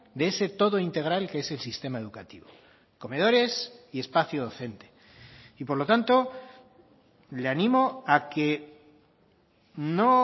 de ese todo integral que es el sistema educativo comedores y espacio docente y por lo tanto le animo a que no